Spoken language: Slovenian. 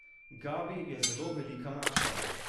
Gabi je zelo velika mačka.